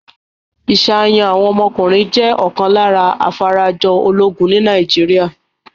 Ìṣàyàn àwọn ọmọkùnrin jẹ́ ọ̀kan lára afarajọ ológun ní Nàìjíríà.